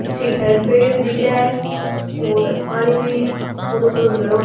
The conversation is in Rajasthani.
पीछे की साइड पेड़ भी दिख रहा है और पानी भी थोरो थोरो भरो --